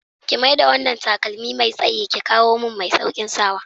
Ki mai da wanna takalmi Mai tsayin ki kawumin mai saukin sawa.